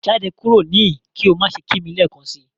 Jade kuro nihin ki o ma ṣe ki mi lẹẹkansi!